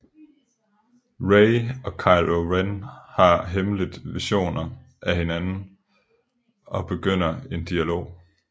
Rey og Kylo Ren har hemmeligt visioner af hinanden og begynder en dialog